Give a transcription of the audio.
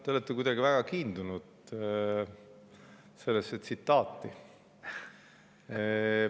Te olete kuidagi väga kiindunud sellesse tsitaati.